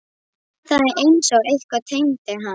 Það er einsog eitthvað teymi hann.